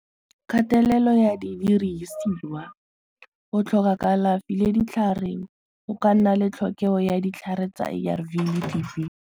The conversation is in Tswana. Kgatelelo ya di dirisiwa go tlhoka kalafi le ditlhare go ka nna le tlhokego ya ditlhare tsa ARV le .